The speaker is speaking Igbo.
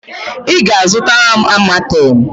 Ị ga-azụtara m Amatem!